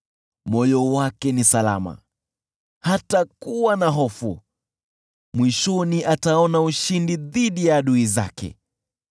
Moyo wake ni salama, hatakuwa na hofu, mwishoni ataona ushindi dhidi ya adui zake.